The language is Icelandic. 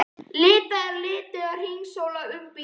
Leitað að lituðum að hringsóla um í bílum.